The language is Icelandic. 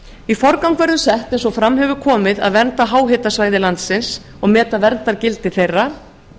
í forgang verður sett eins og fram hefur komið að vernda háhitasvæði landsins og meta verndargildi þeirra